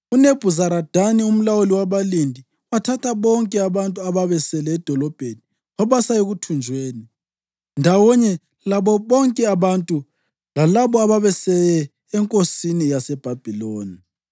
UNebhuzaradani umlawuli wabalindi wathatha bonke abantu ababesele edolobheni wabasa ekuthunjweni, ndawonye labo bonke abantu lalabo abasebeye enkosini yaseBhabhiloni.